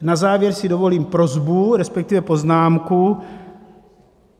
Na závěr si dovolím prosbu, respektive poznámku.